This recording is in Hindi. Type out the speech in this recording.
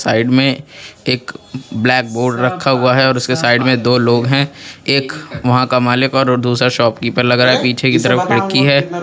साइड में एक ब्लैक बोर्ड रखा हुआ है और उसके साइड में दो लोग हैं एक वहां का मालिक और दूसरा शॉपकीपर लग रहा है पीछे की तरफ खिड़की है.